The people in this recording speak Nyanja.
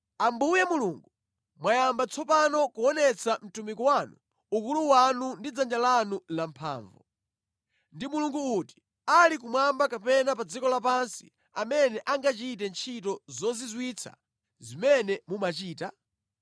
“Ambuye Mulungu, mwayamba tsopano kuonetsa mtumiki wanu ukulu wanu ndi dzanja lanu lamphamvu. Ndi mulungu uti ali kumwamba kapena pa dziko lapansi amene angachite ntchito zozizwitsa zimene mumachita?